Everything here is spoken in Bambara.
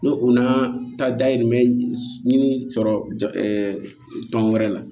N'o o n'a ta dayirimɛ ɲini sɔrɔ tɔn wɛrɛ la